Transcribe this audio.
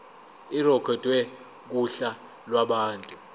irekhodwe kuhla lwabantu